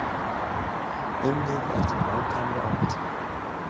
Unnið eftir nákvæmri áætlun